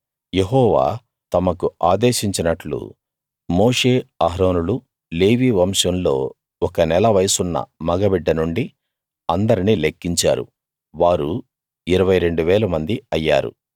యెహోవా తమకు ఆదేశించినట్లు మోషే అహరోనులు లేవీ వంశంలో ఒక నెల వయసున్న మగ బిడ్డ నుండి అందర్నీ లెక్కించారు వారు 22000 మంది అయ్యారు